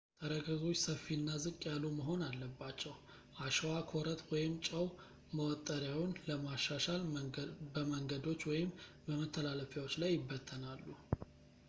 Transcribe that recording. ተረከዞች ሰፊ እና ዝቅ ያሉ መሆን አለባቸው። አሸዋ፣ ኮረት ወይም ጨው መወጠሪያውን ለማሻሻል በመንገዶች ወይም በመተላለፊያዎች ላይ ይበተናሉ